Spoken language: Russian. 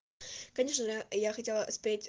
конечно же я хотела спеть